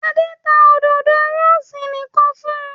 Adé ta òdòdó rósì nìkan fún un.